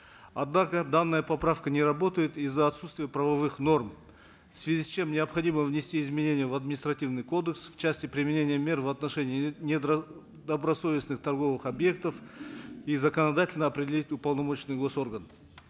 однако данная поправка не работает из за отсутствия правовых норм в связи с чем необходимо внести изменения в административный кодекс в части применения мер в отношении недобросовестных торговых объектов и законодательно определить уполномоченный госорган